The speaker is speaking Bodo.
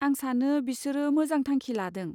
आं सानो बिसोरो मोजां थांखि लादों।